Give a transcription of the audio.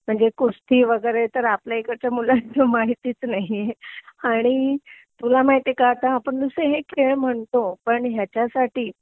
म्हणजे कुस्ती वगैरे तर आपल्या इकडच्या मुलांना माहितीच नाहीए आणि तुला माहितिएका आता आपण जस हे खेळ म्हणतो ह्याच्यासाठी